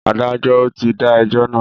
Adájọ́ ò tí dá ẹjọ́ náà.